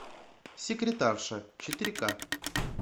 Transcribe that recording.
секретарша четыре ка